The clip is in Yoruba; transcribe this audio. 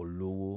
olówó.